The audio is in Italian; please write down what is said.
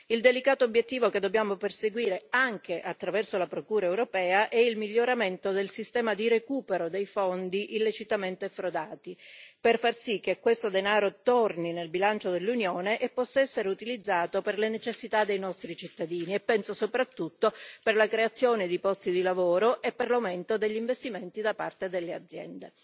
Il delicato obiettivo che dobbiamo perseguire anche attraverso la Procura europea è il miglioramento del sistema di recupero dei fondi illecitamente frodati per far sì che questo denaro torni nel bilancio dell'Unione e possa essere utilizzato per le necessità dei nostri cittadini e penso soprattutto per la creazione di posti di lavoro e per l'aumento degli investimenti da parte delle aziende.